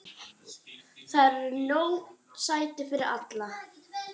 Þar eru nóg sæti fyrir alla.